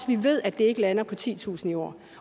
vi ved at det ikke lander på titusind i år